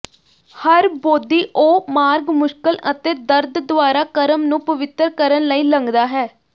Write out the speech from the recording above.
ਹਰ ਬੋਧੀ ਉਹ ਮਾਰਗ ਮੁਸ਼ਕਲ ਅਤੇ ਦਰਦ ਦੁਆਰਾ ਕਰਮ ਨੂੰ ਪਵਿੱਤਰ ਕਰਨ ਲਈ ਲੰਘਦਾ ਹੈ